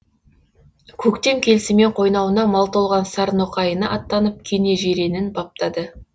көктем келісімен қойнауына мал толған сарноқайына аттанып кенежиренін баптады